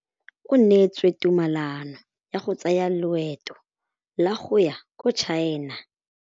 O neetswe tumalanô ya go tsaya loetô la go ya kwa China.